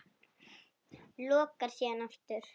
Lokar síðan aftur.